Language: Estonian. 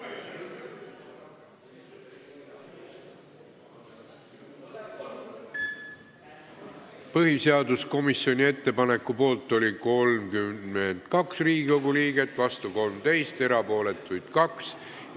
Hääletustulemused Põhiseaduskomisjoni ettepaneku poolt on 32 Riigikogu liiget ja vastu 13, erapooletuks jäi 2.